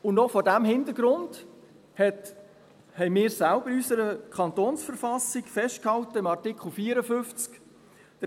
Und auch vor diesem Hintergrund haben wir selber in unserer Verfassung des Kantons Bern (KV) in Artikel 54 festgehalten: